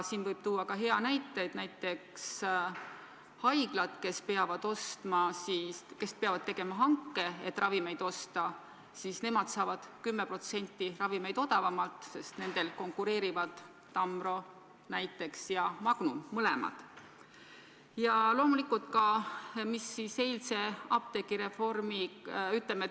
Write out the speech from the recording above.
Võib tuua ka hea näite, et näiteks haiglad, kes peavad tegema hanke, et ravimeid osta, saavad ravimeid 10% odavamalt, sest seal konkureerivad näiteks Tamro ja Magnum, mõlemad.